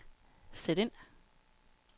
sæt ind